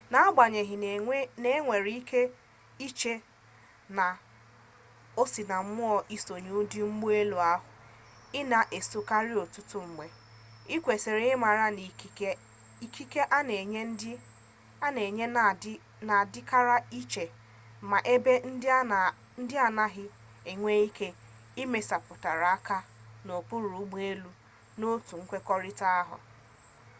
agbanyeghị na inwere ike iche na o sinammụọ isonye ndị ụgbọ elu ahụ ị na-esokarị ọtụtụ mgbe ị kwesịrị ịmara na ikike a na-enye na-adịkarị iche ma ebe ndị a na-agakarị nwere ike imesapụkwụ aka n'okpuru ụgbọ elu n'otu nkwekọrịta ahụ